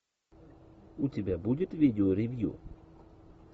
у тебя будет видеоревью